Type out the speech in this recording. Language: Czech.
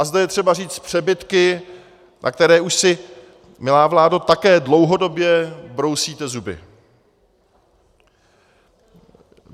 A zde je třeba říct přebytky, na které už si, milá vládo, také dlouhodobě brousíte zuby.